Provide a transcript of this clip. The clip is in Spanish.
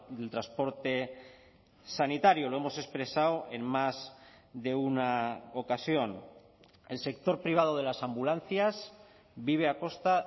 del transporte sanitario lo hemos expresado en más de una ocasión el sector privado de las ambulancias vive a costa